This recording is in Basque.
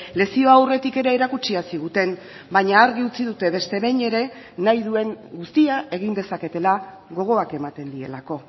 lezioa aurretik ere erakutsia ziguten baina argi utzi dute beste behin ere nahi duen guztia egin dezaketela gogoak ematen dielako